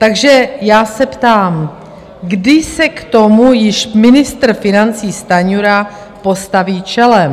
Takže já se ptám, kdy se k tomu již ministr financí Stanjura postaví čelem.